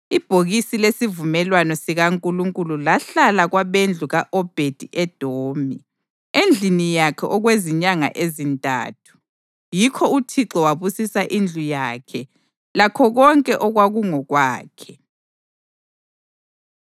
Ibhokisi lesivumelwano sikaNkulunkulu lahlala kwabendlu ka-Obhedi-Edomi endlini yakhe okwezinyanga ezintathu, yikho uThixo wabusisa indlu yakhe lakho konke okwakungokwakhe.